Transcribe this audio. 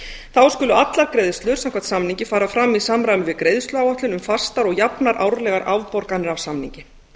þá skulu allar greiðslur samkvæmt samningi fara fram í samræmi við greiðsluáætlun um fastar og jafnar árlegar afborganir af samningi